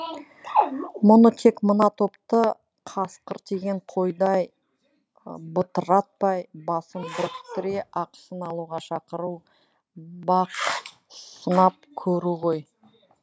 мұныкі тек мына топты қасқыр тиген қойдай бытыратпай басын біріктіре ақысын алуға шақыру бақ сынап көру ғой